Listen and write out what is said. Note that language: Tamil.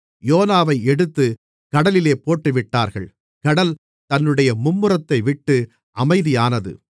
யோனாவை எடுத்துக் கடலிலே போட்டுவிட்டார்கள் கடல் தன்னுடைய மும்முரத்தைவிட்டு அமைதியானது